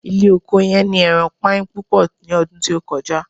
ile oko yen ni eran pain pupo ni odun ti o koja